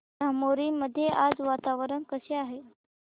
धामोरी मध्ये आज वातावरण कसे आहे